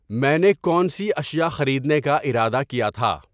میں نے کون سی اشیاء خریدنے کا ارادہ کیا تھا